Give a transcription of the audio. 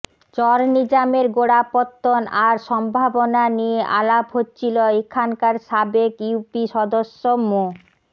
চর নিজামের গোড়াপত্তন আর সম্ভাবনা নিয়ে আলাপ হচ্ছিল এখানকার সাবেক ইউপি সদস্য মো